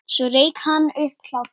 Svo rak hann upp hlátur.